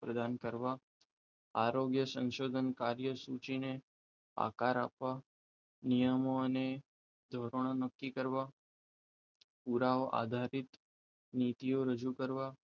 પ્રદાન કરવા આરોગ્ય સંશોધન કાર્ય સૂચિને આકાર આપવા નિયમો અને ધોરણો નક્કી કરવા પુરાવા આધારિત નીતિઓ રજૂ કરવા